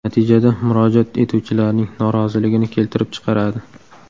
Natijada murojaat etuvchilarning noroziligini keltirib chiqaradi.